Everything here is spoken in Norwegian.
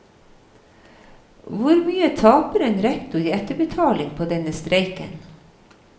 Hvor mye taper en rektor i etterbetaling på denne streiken?